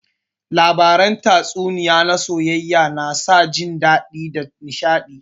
Labaran tatsuniyar soayayya na sa jin dadi da nishadi